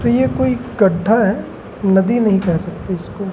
ये कोई गड्ढा है नदी नहीं कह सकते इसको।